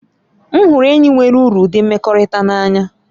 M hụrụ enyi nwere uru ụdị mmekọrịta n'anya.